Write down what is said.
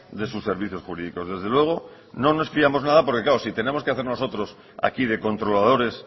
de sus servicios jurídicos desde luego no nos fiamos nada porque claro si tenemos que hacer nosotros aquí de controladores